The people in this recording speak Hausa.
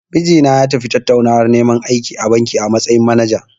Mijina ya tafi tattaunawar neman aiki a banki, a matsayin manaja.